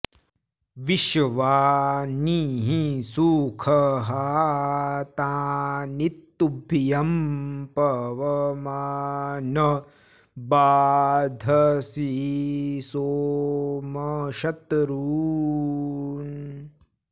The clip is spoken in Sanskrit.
विश्वा॑नि॒ हि सु॒षहा॒ तानि॒ तुभ्यं॒ पव॑मान॒ बाध॑से सोम॒ शत्रू॑न्